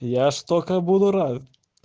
я столько буду рад